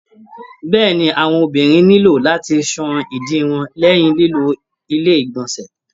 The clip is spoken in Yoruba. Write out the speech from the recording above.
Bẹ́ẹ̀ni àwọn ọmọbìnrin nilo láti sàn ìdí wọn lẹyìn lilo ilé igbọnsẹ.